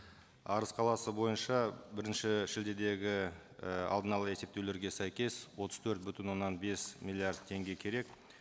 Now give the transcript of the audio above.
арыс қаласы бойынша бірінші шілдедегі і алдын ала есептеулерге сәйкес отыз төрт бүтін оннан бес миллиард теңге керек